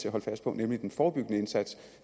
at holde fast på nemlig den forebyggende indsats